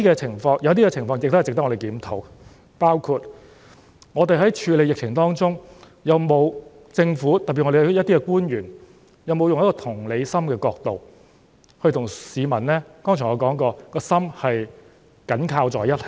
但是，有些情況仍值得我們檢討，包括我們在處理疫情的過程中，政府官員有否從同理心的角度與市民的心——正如我剛才所說的——緊扣在一起呢？